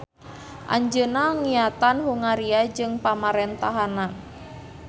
Anjeunna ngiatan Hungaria jeung pamarentahanna.